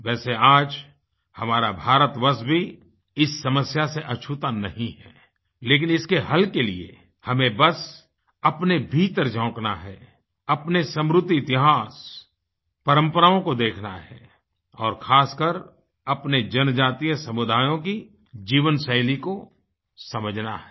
वैसे आज हमारा भारतवर्ष भी इस समस्या से अछूता नहीं है लेकिन इसके हल के लिए हमें बस अपने भीतर झाँकना है अपने समृद्ध इतिहास परंपराओं को देखना है और ख़ासकर अपने जनजातीय समुदायों की जीवनशैली को समझना है